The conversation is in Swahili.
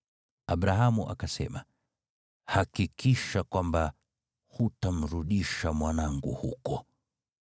Abrahamu akasema, “Hakikisha kwamba hutamrudisha mwanangu huko.